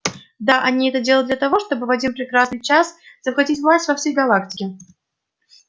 да они это делают для того чтобы в один прекрасный час захватить власть во всей галактике